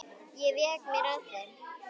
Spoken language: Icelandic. Ég vék mér að þeim.